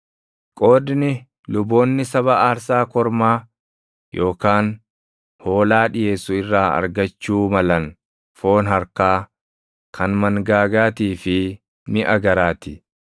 Qoodni luboonni saba aarsaa kormaa yookaan hoolaa dhiʼeessu irraa argachuu malan foon harkaa, kan mangaagaatii fi miʼa garaa ti.